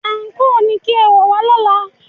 Àǹkóò ni kí ẹ wọ̀ wá lọ́la!